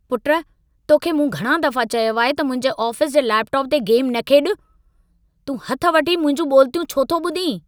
पुट, तोखे मूं घणां दफ़ा चयो आहे त मुंहिंजे आफ़ीस जे लेपटॉप ते गेम न खेॾु। तूं हथि वठी मुंहिंजूं ॿोलितियूं छो थो ॿुधी?